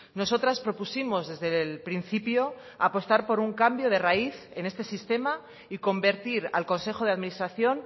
nosotras propusimos desde el principio apostar por un cambio de raíz en este sistema y convertir al consejo de administración